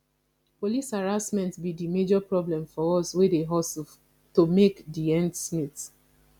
police harassment be di major problem for us wey dey hustle to make di ends meet